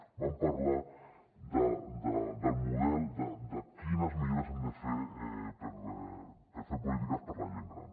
vam parlar del model de quines millores hem de fer per fer polítiques per a la gent gran